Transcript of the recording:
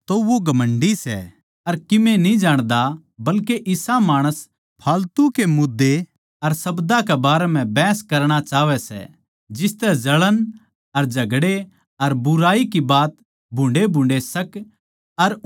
तो वो घमण्डी सै अर कीमे न्ही जाण्दा बल्के इसा माणस फालतू के मुद्दे अर शब्दां के बारे म्ह बहस करणा चाहवै सै जिसतै जळण अर झगड़े अर बुराई की बात भुन्डे़भुन्डे़ शक